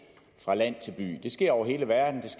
så